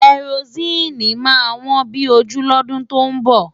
Kẹrosíìnì máa wọ́n bí ojú lọ́dún tó ń bọ̀.